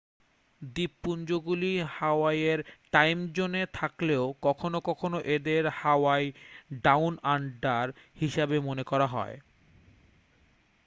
দ্বীপপুঞ্জগুলি হাওয়াইয়ের টাইমজোনে থাকলেও কখনও কখনও এদের হাওয়াই ডাউন আন্ডার' হিসাবে মনে করা হয়